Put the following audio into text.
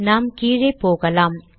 நாம் கீழே போகலாம்